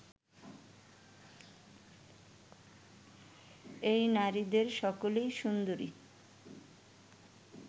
এই নারীদের সকলেই সুন্দরী